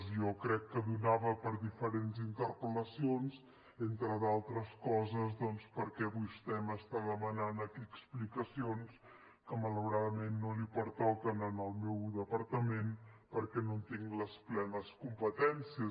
jo crec que donava per diferents interpel·lacions entre d’altres coses doncs perquè vostè m’està demanant aquí explicacions que malauradament no li pertoquen al meu departament perquè no en tinc les plenes competències